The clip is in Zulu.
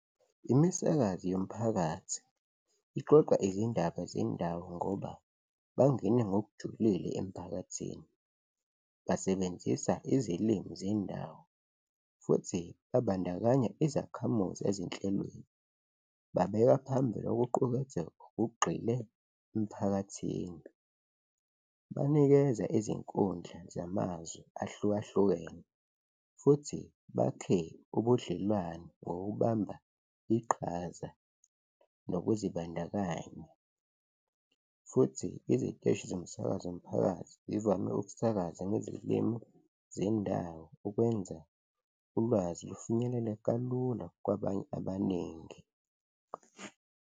Imisakazi yomphakathi ixoxa izindaba zendawo ngoba bangene ngokujulile emphakathini, basebenzisa izilimi zendawo futhi babandakanya izakhamuzi ezinhlelweni. Babeka phambili ukuquketheka okugxile emphakathini, banikeza izinkundla zamazwe ahlukahlukene futhi bakhe ubudlelwane ngokubamba iqhaza nokuzibandakanya futhi iziteshi zomsakazo mphakathi zivame ukusakaza ngezilimu zendawo ukwenza ulwazi lufinyelele kalula kwabanye abaningi.